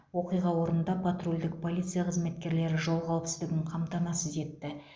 оқиға орнында патрульдік полиция қызметкерлері жол қауіпсіздігін қамтамасыз етті